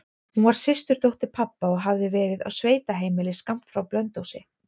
Hún var systurdóttir pabba og hafði verið á sveitaheimili skammt frá Blönduósi.